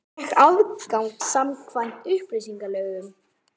Fékk aðgang samkvæmt upplýsingalögum